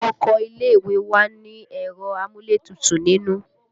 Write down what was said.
Ọkọ ilé ìwé wa ni ẹ̀rọ amúlétutù nínú